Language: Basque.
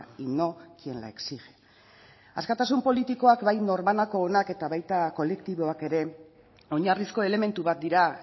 y no quien la exige askatasun politikoak bai norbanakoonak eta baita kolektiboak ere oinarrizko elementu bat dira